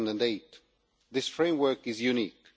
2008. This framework is unique.